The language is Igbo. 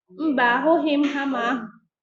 Mba, ahụghị m hama ahụ